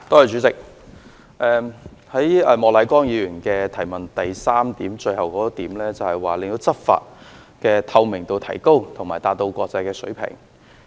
主席，莫乃光議員主體質詢的第三部分提到"令執法工作的透明度提高和達到國際水平"。